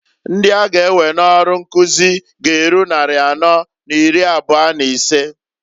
Ndi a ga ewe n'ọrụ nkuzi g'eru nnari anọọ n'iri abụa n'isee.